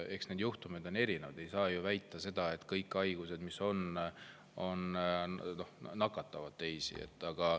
Eks need juhtumid on erinevad, ei saa väita, et kõik haigused nakkavad teistele.